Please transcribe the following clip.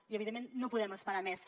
i evidentment no podem esperar més